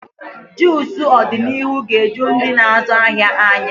Juucu ọdịnihu ga-eju ndị na-azụ ahịa anya.